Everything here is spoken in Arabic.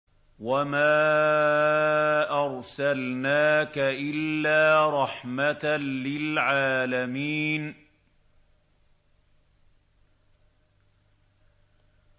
وَمَا أَرْسَلْنَاكَ إِلَّا رَحْمَةً لِّلْعَالَمِينَ